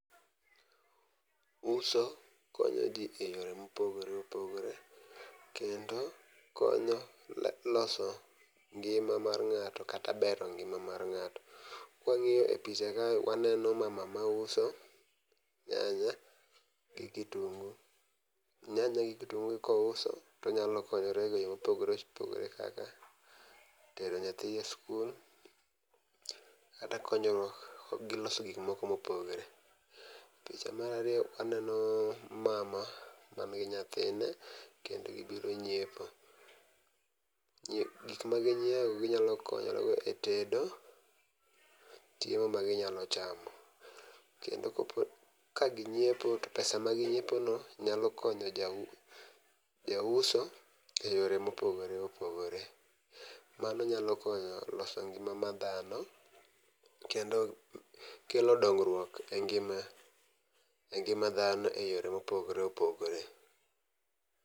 Uso konyo jii eyore mopogore opogore kendo konyo la loso ngima mar ng'ato kata bero ngima mar ng'ato. Kwang'iyo e picha kae waeno mama mauso nyanya gi kitungu. Nyaya gi kitungu gi kouso tonyalo konyore e yo mopogore opogore kaka tero nyathi e skul kata konyo gi loso gik moko mopore. Picha mar ariyo aneno mama man gi nyathine kend gibiro nyiepo , nyi gik ma ginyiewo ginyalo konyore go e tedo chiemo ma ginyalo chamo , .Kendo kopo ka ginyiepo to pesa ma ginyiepo no nya konyo jau jauso eyore mopogore opogore. Mano nyalo konyo loso ngima ma dhano kendo kelo dongruok e ngima e ngima dhano e yore mopogore opogore.